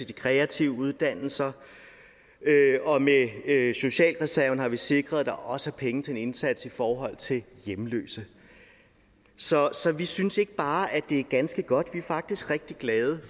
de kreative uddannelser og med socialreserven har vi sikret at der også er penge til en indsats i forhold til hjemløse så vi synes ikke bare at det er ganske godt vi er faktisk rigtig glade